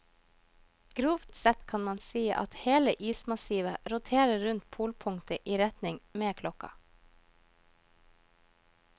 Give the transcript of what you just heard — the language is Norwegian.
Grovt sett kan man si at hele ismassivet roterer rundt polpunktet i retning med klokka.